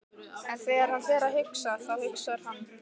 En þegar hann fer að hugsa, þá hugsar hann